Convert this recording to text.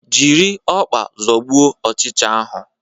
Jiri ọkpa zọgbuo ochicha ahu